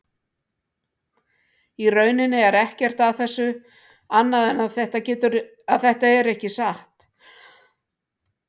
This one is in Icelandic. Í rauninni er ekkert að þessu annað en að þetta er ekki satt.